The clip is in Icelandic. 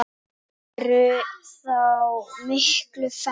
Þau væru þá miklu færri.